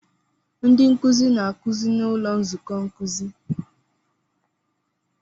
Ndị nkuzi na-akụzi n'ụlọ nzukọ nkuzi.